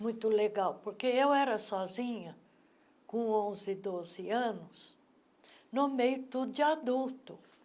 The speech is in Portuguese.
Muito legal, porque eu era sozinha, com onze, doze anos, no meio tudo de adulto.